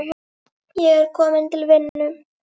Ég er kominn til vinnu.